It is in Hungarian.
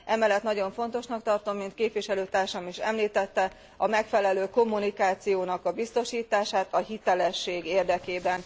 Emellett nagyon fontosnak tartom, mint képviselőtársam is említette, a megfelelő kommunikáció biztosítását a hitelesség érdekében.